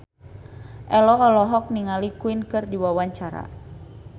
Ello olohok ningali Queen keur diwawancara